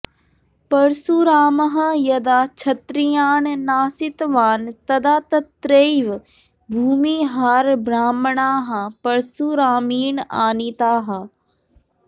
परशुरामः यदा क्षत्रियान् नाशितवान् तदा तत्रैव भूमिहारब्राह्मणाः परशुरामेण आनीताः